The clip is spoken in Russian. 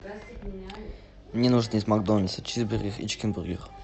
мне нужно из макдональдса чизбургер и чикенбургер